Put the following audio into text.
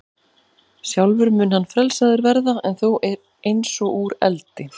Sjálfur mun hann frelsaður verða, en þó eins og úr eldi.